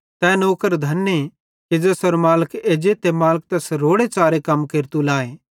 तै नौकर धने कि ज़ेसेरो मालिक एज्जे ते मालिक तैस रोड़ेच़ारे कम केरतू लाए